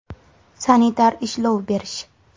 Sanitar ishlov berish .